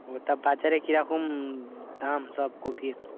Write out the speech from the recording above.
ও তা বাজারে কিরকম দাম সব কপির?